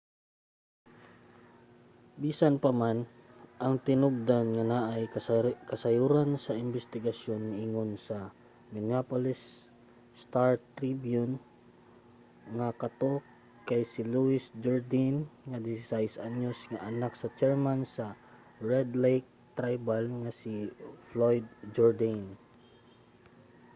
bisan pa man ang tinubdan nga naay kasayuran sa imbestigasyon miingon sa minneapolis star-tribune nga kato kay si louis jourdaine ang 16 anyos nga anak sa chairman sa red lake tribal nga si floyd jourdain